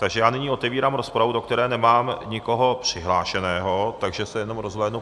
Takže já nyní otevírám rozpravu, do které nemám nikoho přihlášeného, tak se jenom rozhlédnu...